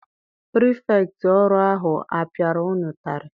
Pirifektị ọrụ ahụ apiara unu ụtarị?